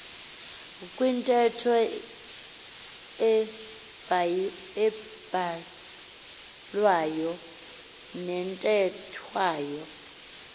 kwintetho ebhalwayo nethethwayo